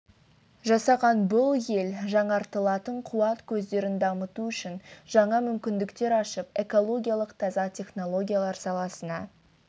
жасаған бұл ел жаңғыртылатын қуат көздерін дамыту үшін жаңа мүмкіндіктер ашып экологиялық таза технологиялар саласына